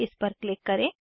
इस पर क्लिक करें